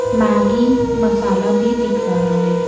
Maggi masala भी दिख रहा है।